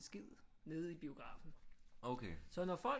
Skid nede i biografen så når folk